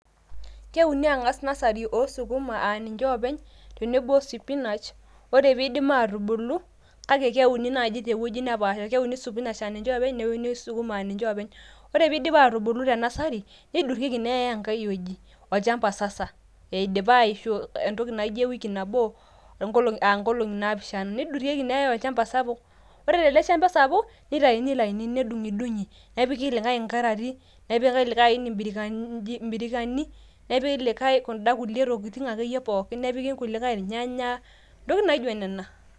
keuni ang'as nursery oo sukuma aa ninche oopeny, tenebo o spinach, oree pee eidip aatubulu, kake keuni naaji tewueji nepaasha, keuni sukuma aa ninche oopeny neuni spinach aa ninche openy ore pee eidip aatubulu te nursery, neidurieki neyae enkae wueji olchampa sasa, eidipa aishu entoki naijo e wiki nabo, aa nkolongi naapishana, neidurieki neyae olchampa sapuk. ore tele shampa sapuk, nitayuni ilainini nedung'idung'i. nepiki likae inkarati, nepiki likae aini ibirikanyani, nepiki likae kuda kulie tokitin akeyie pookin. nepiki kulikae irnyanya intokitin naijo nena